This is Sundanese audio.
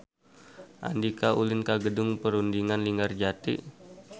Andika ulin ka Gedung Perundingan Linggarjati